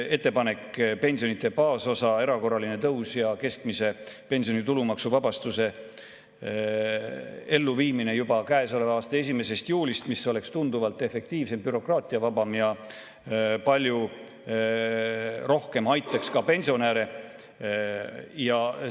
Ettepanek pensionide baasosa erakorralise tõusu ja keskmise pensioni tulumaksuvabastuse elluviimise kohta juba käesoleva aasta 1. juulist oleks tunduvalt efektiivsem, bürokraatiavabam ja aitaks pensionäre palju rohkem.